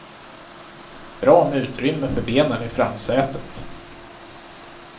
Bra med utrymme för benen i framsätet.